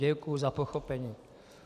Děkuju za pochopení.